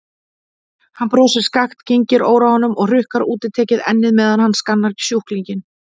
Hann brosir skakkt, kyngir óróanum og hrukkar útitekið ennið meðan hann skannar sjúklinginn.